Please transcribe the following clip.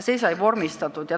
Siis sai see vormistatud.